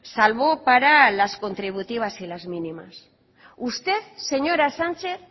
salvo para las contributivas y las mínimas usted señora sánchez